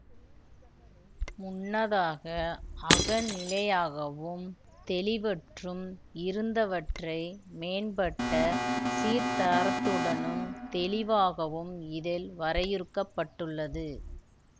முன்னதாக அகநிலையாகவும் தெளிவற்றும் இருந்தவற்றை மேம்பட்ட சீர்தரத்துடனும் தெளிவாகவும் இதில் வரையுறுக்கப்பட்டுள்ளது